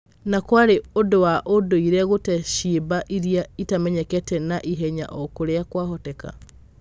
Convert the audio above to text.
Na kwarĩ ũndũ wa undũire gute ciimba iria itamenyekete na ihenya o ũrĩa kwavoteka.